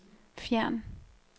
fjern